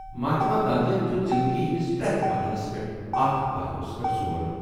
مہاتما گاندھی ین دِیُت زِنٛدگی ہِنٛدِس پرٛٮ۪تھ مرحلَس پٮ۪ٹھ اتھ پہلوَس پٮ۪ٹھ زور۔